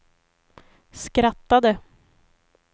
skrattade